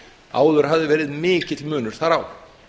áður hafði verið mikill munur þar á